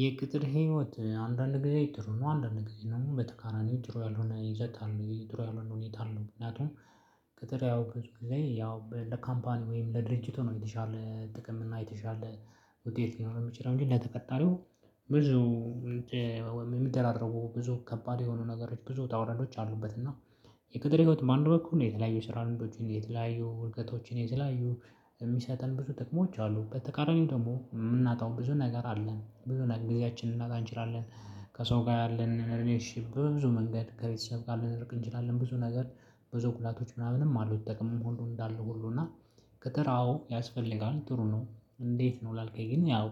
የቅጥር ህይወት አንዳንድ ጊዜ ጥሩ ነው አንዳንድ ጊዜ ደግሞ በተቃናኒው ጥሩ ያልሆነ ይዘት አለ የጥሩ ያልሆነ ሁኔታ አለው። ምክንያቱም ከተለያው በፊት ጊዜ ያው ለካምፓኒ ወይም ለድርጅቱ ነው የተሻለ ጥቅም እና የተሻለ ውጤት ሊኖረው የሚችለው እንጂ ለተቀጣሪው ብዙ የሚደራረቡ ብዙ ከባድ የሆኑ ነገሮች ብዙ ውጣ ውረዶች አሉበት እና የቅጥር ህይወት በአንድ በኩል ነው የተለያዩ ስራ ልሞዶችን የተለያዩ እውቀቶችን የተለላዩ የሚሰጠን ብዙ ጥቅሞች አሉ በተቃራኒው ደግሞ የምናጣው ብዙ ነገር አለን ብዙ ነገር ጊዜያችንን ልናጣ እንችላለን። ከሰው ጋ ያለን ሪሌሽንሽፕ በብዙ መንገድ ከቤተሰብ ጋር ልንርቅ እንችላለን። ብዙ ነገር በዙ ጉዳቶች ምናምንም አሉት። ጥቅምም ሁሉ እንዳለው ሁሉ እና ቅጥር አዎ ያስፈልጋል ጥሩ ነው። እንዴት ነው ላልከኝ ግን ያው